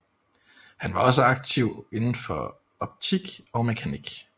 Han var også aktiv inden for optik og mekanik